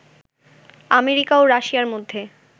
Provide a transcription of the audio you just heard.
America ও রাশিয়ার মধ্যে